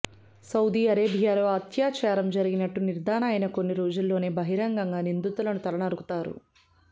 Saudi అరేబియాలో అత్యాచారం జరిగినట్టు నిర్ధారణ అయిన కొన్ని రోజుల్లోనే బహిరంగంగా నిందితులను తల నరుకుతారు